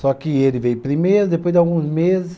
Só que ele veio primeiro, depois de alguns meses.